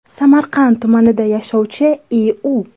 Samarqand tumanida yashovchi I.U.